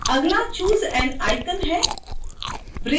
अगला choose an icon है